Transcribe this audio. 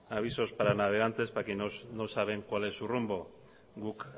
avisos para navegantes para quienes no saben cuál es su rumbo guk